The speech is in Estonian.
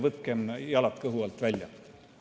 Võtkem jalad kõhu alt välja!